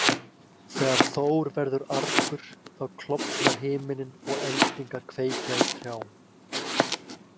Þegar Þór verður argur þá klofnar himinninn og eldingar kveikja í trjám.